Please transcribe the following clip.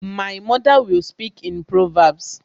My mother will speak in proverbs